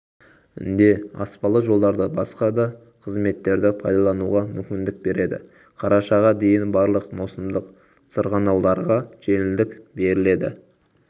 де аспалы жолдарды басқа дақызметтерді пайдалануға мүмкіндік береді қарашаға дейін барлық маусымдық сырғанауларға жеңілдік беріледі